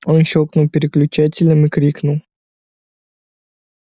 он щёлкнул переключателем и крикнул